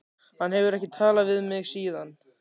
Hann hefur ekki talað við mig síðan.